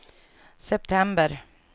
september